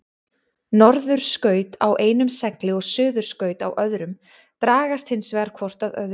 Norðurskaut á einum segli og suðurskaut á öðrum dragast hins vegar hvort að öðru.